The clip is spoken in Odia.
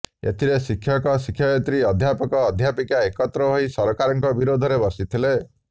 ଏଥିରେ ଶିକ୍ଷକ ଶିକ୍ଷୟିତ୍ରୀ ଅଧ୍ୟାପକ ଅଧ୍ୟାପିକା ଏକତ୍ର ହୋଇ ସରକାରଙ୍କ ବିରୋଧରେ ବର୍ଷିଥିଲେ